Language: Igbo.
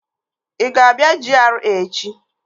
Ị ga-abịa GRA echi?